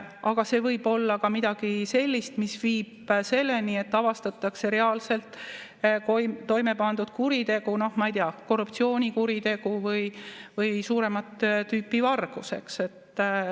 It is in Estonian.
Aga see võib olla ka midagi sellist, mis viib selleni, et avastatakse reaalselt toime pandud kuritegu, no ma ei tea, korruptsioonikuritegu või suuremat tüüpi vargus.